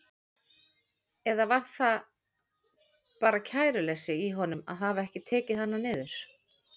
Eða var það bara kæruleysi í honum að hafa ekki tekið hana niður?